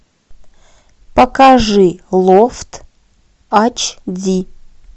покажи лофт ач ди